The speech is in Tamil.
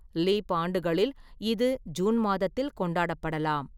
லீப் ஆண்டுகளில் இது ஜூன் மாதத்தில் கொண்டாடப்படலாம்.